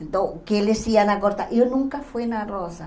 Então, o que eles iam acordar, eu nunca fui na Rosa.